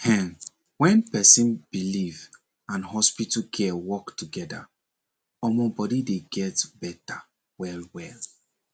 hen when person belief and hospital care work together omor body dey get better well well